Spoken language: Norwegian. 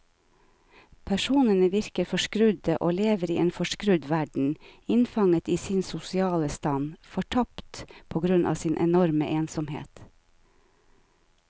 Personene virker forskrudde og lever i en forskrudd verden, innfanget i sin sosiale stand, fortapte på grunn av sin enorme ensomhet.